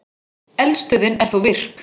Eldstöðin er þó virk.